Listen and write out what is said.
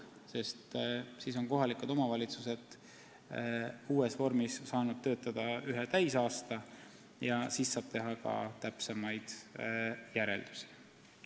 Selleks ajaks on kohalikud omavalitsused saanud uues vormis töötada ühe täisaasta ja siis saab teha ka täpsemaid järeldusi.